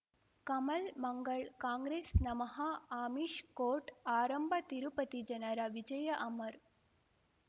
ಕಮಲ್ ಮಂಗಳ್ ಕಾಂಗ್ರೆಸ್ ನಮಃ ಅಮಿಷ್ ಕೋರ್ಟ್ ಆರಂಭ ತಿರುಪತಿ ಜನರ ವಿಜಯ ಅಮರ್